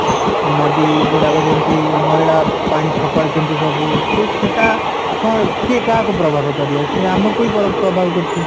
ନଦୀ ଗୁଡାକ ଯେମିତି ମଇଳା ପାଣି ଫୋପାଡୁଛନ୍ତି ସବୁ ସେ ସେଇଟା କଣ କିଏ କାହାକୁ ପ୍ରଭାବ କରିବ ସିଏ ଆମକୁ ହିଁ ପ୍ରଭାବ କରୁଛି